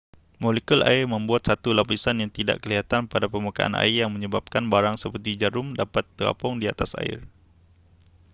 molekul air membuat satu lapisan yang tidak kelihatan pada permukaan air yang menyebabkan barang seperti jarum dapat terapung di atas air